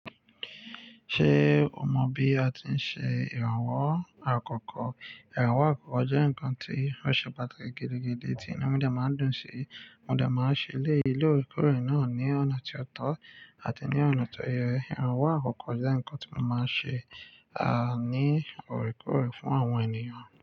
Ṣé o mọ bí a ti ń ṣe ìrànwọ́ àkọ́kọ́? Ìrànwọ́ àkọ́kọ́ jẹ́ nǹkan tí ó ṣe pàtàkì gídígídi tí inú mídìà máa ń dùn sí. Mó dè máa ń ṣe lé ilé orèkoòrè náà ní ọ̀nà tí ó tọ́ àti ní ọ̀nà tó yẹ. Ìrànwọ́ àkọ́kọ́ jẹ́ nǹkan tí wọ́n máa ń ṣe, à, ní orèkoòrè fún àwọn ènìyàn.